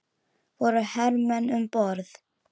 Voru hermenn um borð?